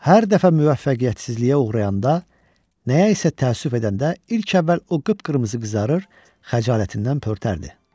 Hər dəfə müvəffəqiyyətsizliyə uğrayanda, nəyə isə təəssüf edəndə ilk əvvəl o qıpqırmızı qızarır, xəcalətindən pörtərdi.